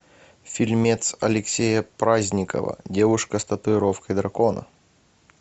фильмец алексея праздникова девушка с татуировкой дракона